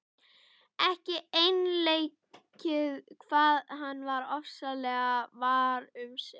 Ekki einleikið hvað hann var ofboðslega var um sig.